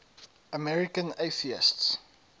american atheists